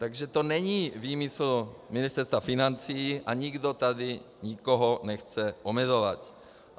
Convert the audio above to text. Takže to není výmysl Ministerstva financí a nikdo tady nikoho nechce omezovat.